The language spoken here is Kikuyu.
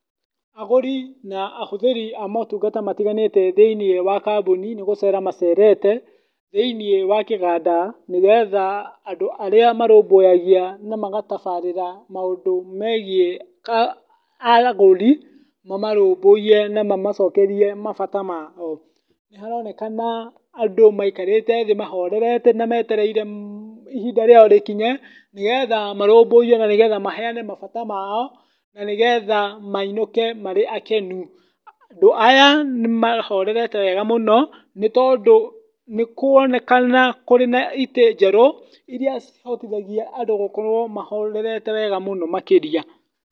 Agũri na ahũthĩri a motungata matiganĩte thĩiniĩ wa kambuni nĩ gũcera macerete, thĩiniĩ wa kĩganda nĩgetha andũ arĩa marũmbũyagia na magatabarĩrĩ maũndũ megiĩ agũri, mamarũmbũiye na mamacokerie mabata mao. Nĩ haronekana andũ maikaite thĩ mahoreirete na metereire ihinda rĩao rĩkinye, nigetha marũmbũiywo na nĩ getha maheane mabata mao, na nĩgetha mainũke marĩ akenu. Andũ aya, nĩ mahorerete wega mũno, nĩ tondũ nĩ kũronekana kũrĩ na itĩ njerũ, iria cihotithagia andũ gũkorwo mahorere wega mũno makĩria.